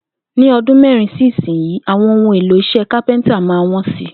Ní o̩dún mé̩rin sí ìsinyìí, àwo̩n ohun èlò is̩é̩ kápé̩ńtà máa wó̩n si